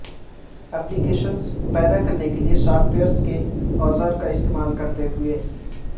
ایپلی کیشنز پیدا کرنے کے لئے سافٹ ویئر کے اوزار کا استعمال کرتے ہوئے